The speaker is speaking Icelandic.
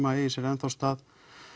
að eigi sér ennþá stað